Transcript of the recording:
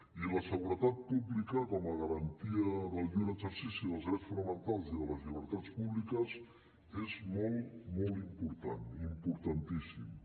i la seguretat pública com a garantia del lliure exercici dels drets fonamentals i de les llibertats públiques és molt molt important importantíssima